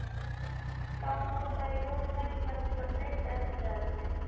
Þá notaði Jón tækifærið til að breyta um umræðuefni.